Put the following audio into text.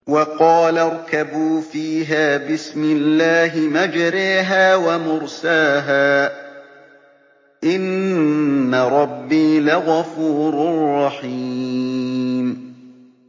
۞ وَقَالَ ارْكَبُوا فِيهَا بِسْمِ اللَّهِ مَجْرَاهَا وَمُرْسَاهَا ۚ إِنَّ رَبِّي لَغَفُورٌ رَّحِيمٌ